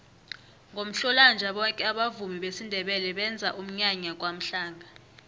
ngomhlolanja boke abavumi besindebele benza umnyanya kwamhlanga